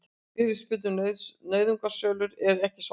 Fyrirspurn um nauðungarsölur ekki svarað